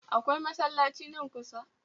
Akwai masallaci nan kusa?